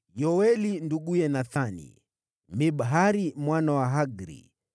Yoeli nduguye Nathani, Mibhari mwana wa Hagri,